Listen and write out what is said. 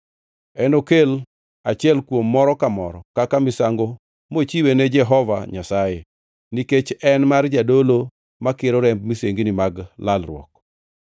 Enokel achiel kuom moro ka moro kaka misango mochiwe ne Jehova Nyasaye, nikech en mar jadolo makiro remb misengini mag lalruok.